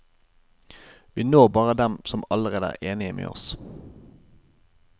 Vi når bare dem som allerede er enige med oss.